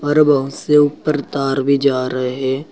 और बहुत से ऊपर तार भी जा रहे हैं।